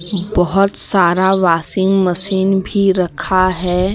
बहोत सारा washing machine भी रखा है।